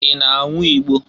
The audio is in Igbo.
I na-anwụ igbo?